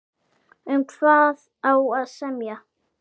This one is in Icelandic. Um hvað á að semja?